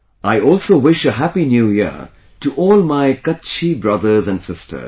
I also wish Happy New Year to all my Kutchi brothers and sisters